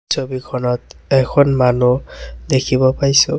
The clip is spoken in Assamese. ছবিখনত এখন মানুহ দেখিব পাইছোঁ।